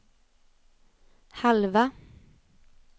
halva